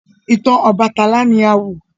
Ìtàn Obàtálá ni a wọ.